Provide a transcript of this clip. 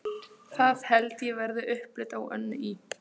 Það held ég verði upplit á Önnu í